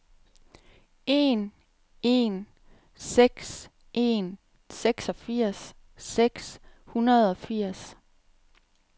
en en seks en seksogfirs seks hundrede og firs